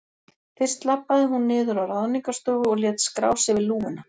Fyrst labbaði hún niður á Ráðningarstofu og lét skrá sig við lúguna.